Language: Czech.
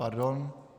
Pardon.